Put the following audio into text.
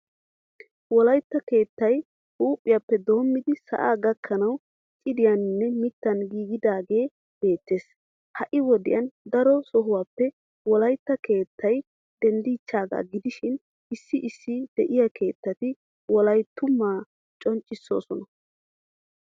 Wolaytta keettay huuphiyappe dommidi sa'aa gakkanawu cidiyaninne mittan giigidaagee beettees. Ha'i wodiyan daro sohuwappe wolaytta keettay denddichaagaa gidishin issi issi de'iya keettati wolayttumaa conccissoosona.